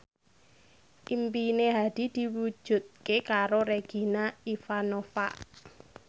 impine Hadi diwujudke karo Regina Ivanova